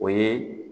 O ye